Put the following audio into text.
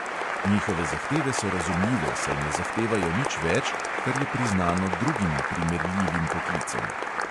Njihove zahteve so razumljive, saj ne zahtevajo nič več, kar je priznano drugim primerljivim poklicem.